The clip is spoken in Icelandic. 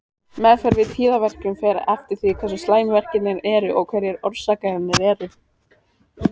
Meðferð við tíðaverkjum fer eftir því hversu slæmir verkirnir eru og hverjar orsakirnar eru.